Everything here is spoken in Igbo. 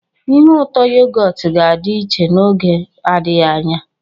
Ihe ụtọ yogọt ga-adị iche n'oge adịghị anya.